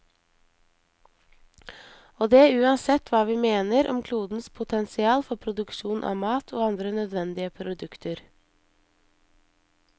Og det uansett hva vi mener om klodens potensial for produksjon av mat og andre nødvendige produkter.